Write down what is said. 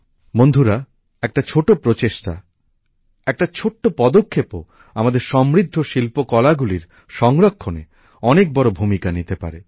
বন্ধুরা একটা ছোট প্রচেষ্টা একটা ছোট্ট পদক্ষেপও আমাদের সমৃদ্ধ শিল্পকলাগুলির সংরক্ষণে অনেক বড় ভূমিকা নিতে পারে